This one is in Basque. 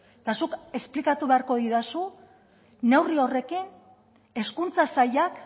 eta zuk esplikatu beharko didazu neurri horrekin hezkuntza sailak